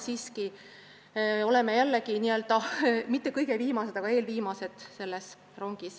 Nüüd me oleme selles rongis mitte küll kõige viimased, aga eelviimased.